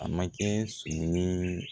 A ma kɛ sonni ye